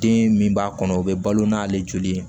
Den min b'a kɔnɔ o bɛ balo n'ale joli ye